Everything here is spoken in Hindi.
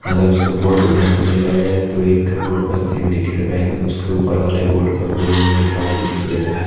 अगर उसके बोर्ड को ध्यान से देखा जाए तो एक के बोर्ड पर सिंडिकेट बैंक उसके ऊपर वाले बोर्ड पर गोल्ड लोन लिखा हुआ दिखाई दे रहा है।